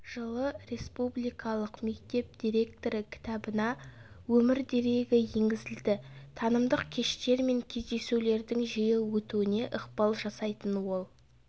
жылы республикалық мектеп директоры кітабына өмірдерегі енгізілді танымдық кештер мен кездесулердің жиі өтуіне ықпал жасайтын ол